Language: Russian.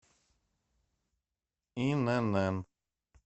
инн